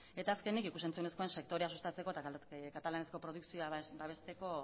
eta azkenik ikus entzunezkoen sektorea sustatzeko eta katalanezko produkzioak babesteko